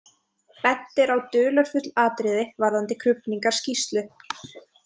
Bent er á dularfull atriði varðandi krufningarskýrslu.